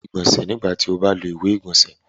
Iwọ yoo nilo iwe igbọnsẹ lẹhin lilo ile-igbọnsẹ.